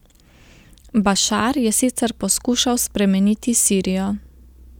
Bašar je sicer poskušal spremeniti Sirijo.